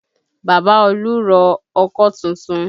Bàbá olú rọ ọkọ́ tuntun